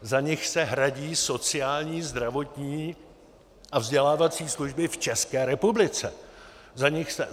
Z nich se hradí sociální, zdravotní a vzdělávací služby v České republice.